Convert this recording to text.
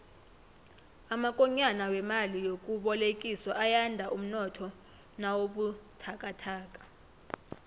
amakonyana wemali yokubolekiswa ayanda umnotho nawubuthakathaka